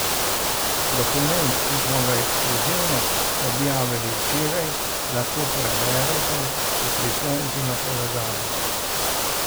Dokument, ki smo ga ekskluzivno objavili včeraj, lahko preberete v priponki na povezavi.